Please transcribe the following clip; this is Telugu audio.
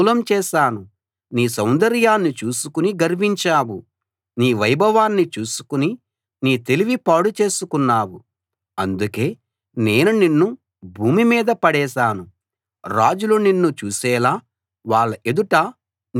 నీ సౌందర్యాన్ని చూసుకుని గర్వించావు నీ వైభవాన్ని చూసుకుని నీ తెలివి పాడు చేసుకున్నావు అందుకే నేను నిన్ను భూమి మీద పడేశాను రాజులు నిన్ను చూసేలా వాళ్ళ ఎదుట నిన్నుంచాను